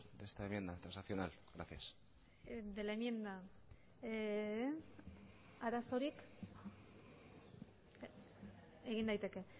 de esta enmienda transaccional gracias de la enmienda arazorik egin daiteke